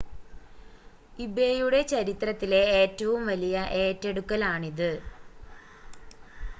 ഇബേയുടെ ചരിത്രത്തിലെ ഏറ്റവും വലിയ ഏറ്റെടുക്കലാണിത്